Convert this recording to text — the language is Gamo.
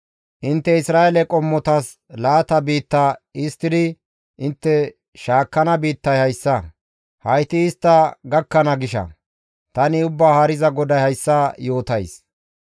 «Intte Isra7eele qommotas laata biitta histtidi intte shaakkana biittay hayssa; hayti istta gakkana gisha. Tani Ubbaa Haariza GODAY hayssa yootays.